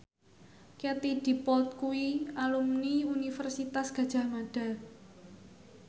Katie Dippold kuwi alumni Universitas Gadjah Mada